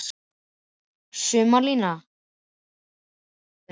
Sumarlína, hvernig er veðrið á morgun?